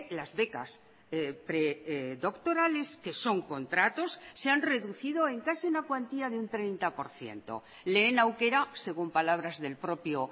las becas predoctorales que son contratos se han reducido en casi una cuantía de un treinta por ciento lehen aukera según palabras del propio